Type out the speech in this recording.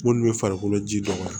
Munnu be farikolo ji dɔ